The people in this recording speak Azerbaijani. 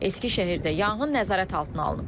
Eskisehirdə yanğın nəzarət altına alınıb.